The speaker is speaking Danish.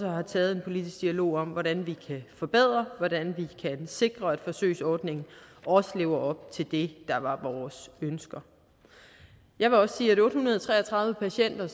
har taget en politisk dialog om hvordan vi kan forbedre hvordan vi kan sikre at forsøgsordningen også lever op til det der var vores ønsker jeg vil også sige at otte hundrede og tre og tredive patienter